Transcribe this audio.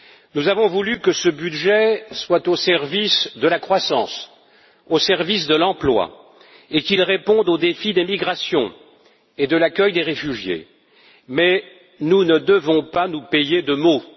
Nous avons voulu que ce budget soit au service de la croissance, au service de l'emploi, et qu'il réponde aux défis des migrations et de l'accueil des réfugiés, mais nous ne devons pas nous payer de mots.